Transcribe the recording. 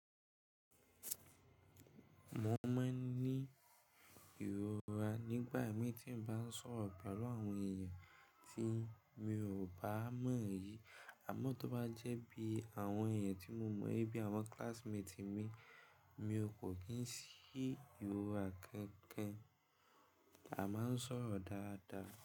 Mo máa ń ní ìrora nígbà mí tí n bá ń sọ̀rọ̀ pẹ̀lú àwọn èèyàn tí mi ò bá mọ̀ yìí, àmọ́ tó bá jẹ́ bí àwọn èèyàn tí mo mọ̀ bíi àwọn classmate mi, mi kò kín sí ìrora kankan, a máa ń sọ̀rọ̀ dáadáa.